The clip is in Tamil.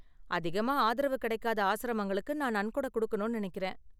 அதிகமா ஆதரவு கிடைக்காத ஆஸ்ரமங்களுக்கு நான் நன்கொட கொடுக்கணும்னு நெனைக்கறேன்.